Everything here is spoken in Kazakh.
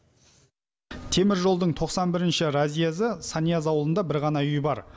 теміржолдың тоқсан бірінші разъезі санияз ауылында бір ғана үй бар